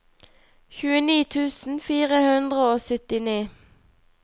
tjueni tusen fire hundre og syttini